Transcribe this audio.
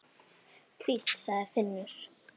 Fínn, sagði Finnur.